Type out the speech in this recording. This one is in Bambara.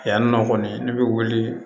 Yan nɔ kɔni ne bɛ wuli